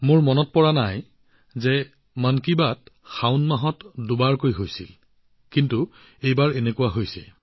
কেতিয়াবা এনেকুৱা হৈছিল যদিও মোৰ মনত নাই যে শাওন মাহত দুবাৰকৈ মন কী বাত অনুষ্ঠান অনুষ্ঠিত হৈছে কিন্তু এইবাৰ এনেকুৱাই হৈছে